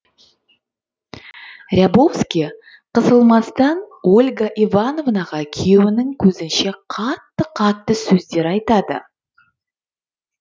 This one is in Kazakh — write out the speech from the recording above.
рябовский қысылмастан ольга ивановнаға күйеуінің көзінше қатты қатты сөздер айтады